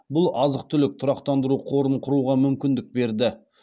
бұл азық түлік тұрақтандыру қорын құруға мүмкіндік берді